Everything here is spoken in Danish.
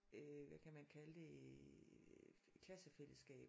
Øh hvad kan man kalde det klassefællesskab